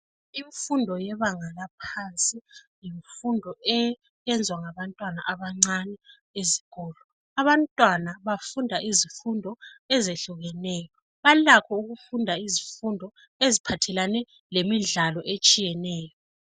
Imfundo yebanga laphansi yimfundo enzwa ngabantwana abancane esikolo. Abantwana bafunda izifundo ezehlukeneyo balakho ukufunda izifundo eziphathelane lemidlalo etshiyeneyo.